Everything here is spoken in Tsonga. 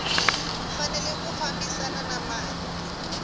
fanele ku fambisana na mali